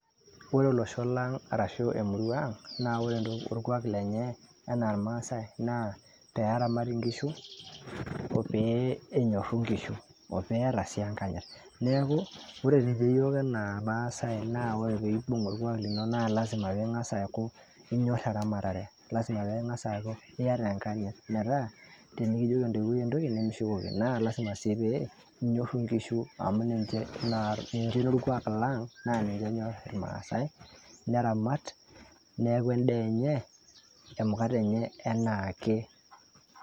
ore olosho lang ashu emurua ang naa ore orkuak lenye anaa irmaasae naa peramat inkishu , oopee enyoru inkishu. eeta sii enkanyit, neeku ninye iyiok anaa irmaasae ,ore pibung oorkwak lino naa lasima pingas aaku inyor eramatare , lasima pingas aaku iyata enkanyit , metaa tenikijoki entoiwuoi entoki nimishukoki naa lasima pee inyoru inkishu